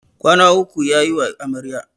Kwana uku ya yiwa Amaryar.